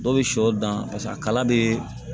Dɔw bɛ shɔ dan paseke a kala bɛ